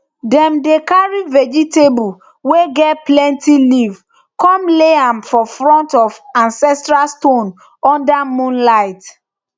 dem dey carry vegetable way get plenty leave come lay am for front of ancestral stone under moonlight